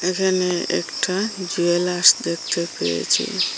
এখানে একটা জুয়েলার্স দেখতে পেয়েছি।